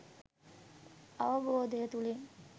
අවබෝධය තුළින්